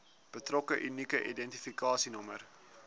betrokke unieke identifikasienommer